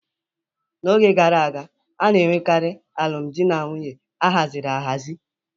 N'oge gara aga, a na-enwekarị alụmdi na nwunye a haziri ahazi.